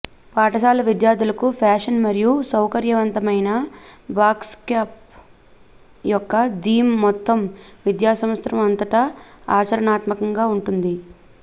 పాఠశాల విద్యార్థులకు ఫ్యాషన్ మరియు సౌకర్యవంతమైన బ్యాక్ప్యాక్ యొక్క థీమ్ మొత్తం విద్యాసంవత్సరం అంతటా ఆచరణాత్మకంగా ఉంటుంది